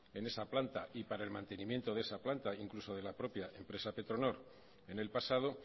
en esa planta y para el mantenimiento de esa planta incluso de la propia empresa petronor en el pasado